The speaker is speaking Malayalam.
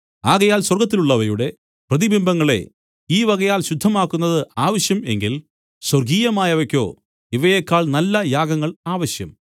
ആകയാൽ സ്വർഗ്ഗത്തിലുള്ളവയുടെ പ്രതിബിംബങ്ങളെ ഈവകയാൽ ശുദ്ധമാക്കുന്നത് ആവശ്യം എങ്കിൽ സ്വർഗ്ഗീയമായവയ്ക്കോ ഇവയേക്കാൾ നല്ല യാഗങ്ങൾ ആവശ്യം